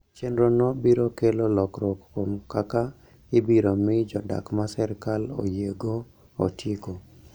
Chenrono biro kelo lokruok kuom kaka ibiro mi jodak ma sirkal oyiego otiko